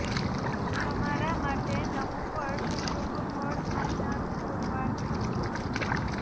તમારા માટે નવુ વર્ષ શુભ ફળ આપનારુ પુરવાર થશે